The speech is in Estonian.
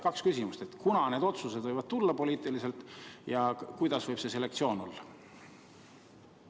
Kaks küsimust: kunas need otsused võivad poliitiliselt tulla ja milline võib see selektsioon olla?